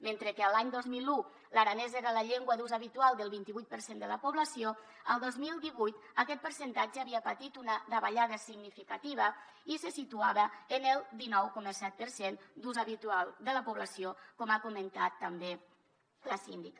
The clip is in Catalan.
mentre que l’any dos mil un l’aranès era la llengua d’ús habitual del vintivuit per cent de la població el dos mil divuit aquest percentatge havia patit una davallada significativa i se situava en el dinou coma set per cent d’ús habitual de la població com ha comentat també la síndica